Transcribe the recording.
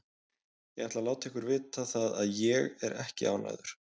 Ég ætla að láta ykkur vita það að ÉG er ekki ánægður.